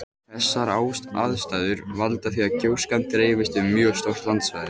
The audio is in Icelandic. Þessar aðstæður valda því að gjóskan dreifist um mjög stórt landsvæði.